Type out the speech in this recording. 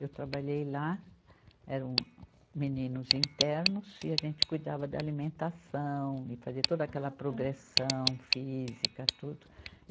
Eu trabalhei lá, eram meninos internos e a gente cuidava da alimentação e fazia toda aquela progressão física, tudo.